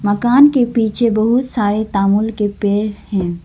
मकान के पीछे बहुत सारे तांबूल के पेड़ हैं।